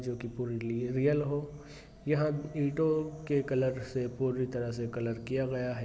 जो की पूरी रियल हो यहाँ ईटों के कलर से पूरी तरह से कलर किया गया है।